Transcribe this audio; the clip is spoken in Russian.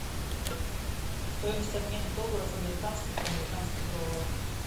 стоимость обмена долларов американских в американских долларах